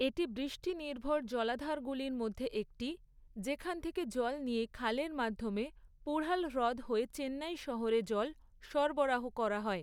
এটি বৃষ্টিনির্ভর জলাধারগুলির মধ্যে একটি, যেখান থেকে জল নিয়ে খালের মাধ্যমে পুঢ়াল হ্রদ হয়ে চেন্নাই শহরে জল সরবরাহ করা হয়।